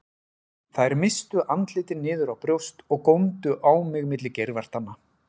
Þær misstu andlitin niður á brjóst og góndu á mig milli geirvartanna.